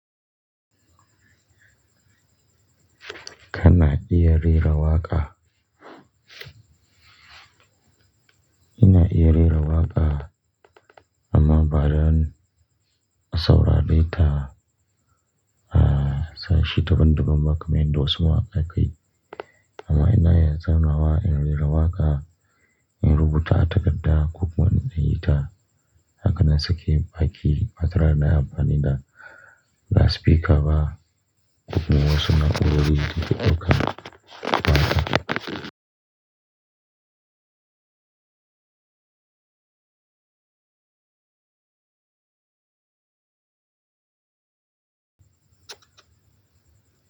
Kana iye rera waqa? Ina iye rera waqa, amma bariin saura detaa, ah, sai shi ta ban duban ba kamar inda wasu mawaka ka yi. Amma ina iya zau nawa in rera waqa, in rubuta a takarda, ko kuma in yi ta, haka na sake baƙi, batare da na yi amfani da last speaker ba, ko kuma wasu na'urorin, data dauka da haka.